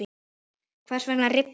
Hvers vegna rifnar?